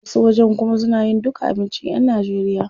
Wasu wajen kuma suna yin duka abincin yan Najeriya.